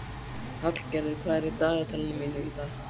Hallgerður, hvað er í dagatalinu mínu í dag?